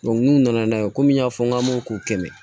n'u nana n'a ye komi n y'a fɔ n k'an m'o k'u kɛmɛ